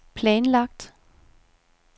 planlagt